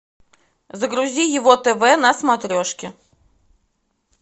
загрузи его тв на смотрешке